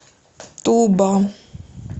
туба